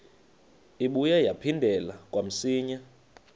ibuye yaphindela kamsinya